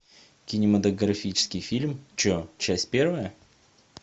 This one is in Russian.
кинематографический фильм че часть первая